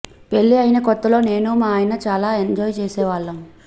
పెళ్లి అయిన కొత్తలో నేను మా ఆయన చాలా ఎంజాయ్ చేసేవాళ్లం